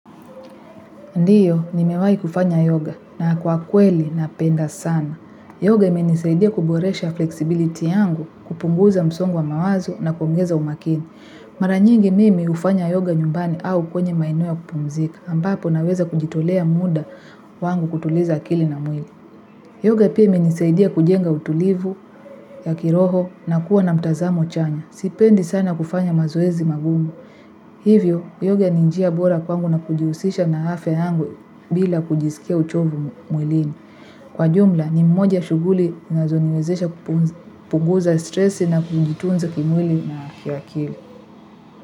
Ndiyo, nimewai kufanya yoga na kwa kweli na penda sana. Yoga imenisaidia kuboresha flexibility yangu kupunguza msongo wa mawazo na kuongeza umakini. Mara nyingi mimi hufanya yoga nyumbani au kwenye maeneo ya kupumzika ambapo naweza kujitolea muda wangu kutuliza akili na mwili. Yoga pia imenisaidia kujenga utulivu ya kiroho na kuwa na mtazamo chanya. Sipendi sana kufanya mazoezi magumu. Hivyo, yoga ni njia bora kwangu na kujihusisha na afya yangu bila kujisikia uchovu mwilini. Kwa jumla, ni mmoja shuguli zinazo niwezesha kupunguza stressi na kujitunza kimwili na kiakili.